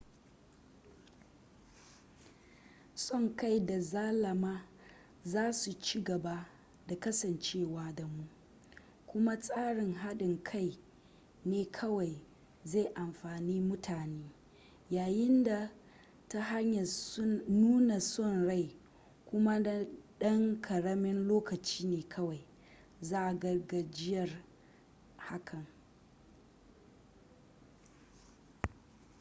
son kai da zalama za su ci gaba da kasancewa da mu kuma tsarin hadin kai ne kawai zai amfani mutane yayin da ta hanyar nuna son rai kuma na dan karamin lokaci ne kawai za a ga gajiyar hakan